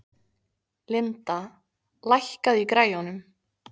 Linda, lækkaðu í græjunum.